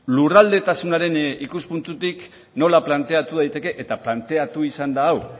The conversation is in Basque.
lurraldetasunaren ikuspuntutik nola planteatu daiteke eta planteatu izan da hau